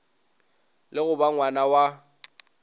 le go ba ngwna wa